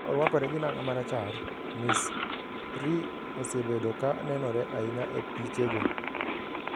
Ka orwakore gi nanga marachar, Ms. Ri osebedo ka nenore ahinya e pichego.